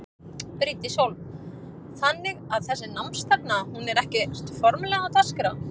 Bryndís Hólm: Þannig að þessi námsstefna hún er ekkert formlegra á dagskrá?